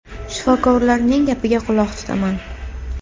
Shifokorlarning gapiga quloq tutaman.